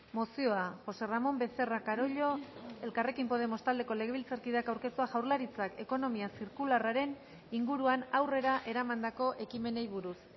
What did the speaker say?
mozioa josé ramón becerra carollo elkarrekin podemos taldeko legebiltzarkideak aurkeztua jaurlaritzak ekonomia zirkularraren inguruan aurrera eramandako ekimenei buruz